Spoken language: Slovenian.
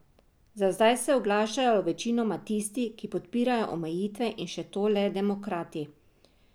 Za zdaj se oglašajo večinoma tisti, ki podpirajo omejitve in še to le demokrati.